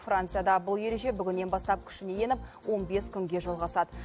францияда бұл ереже бүгіннен бастап күшіне еніп он бес күнге жалғасады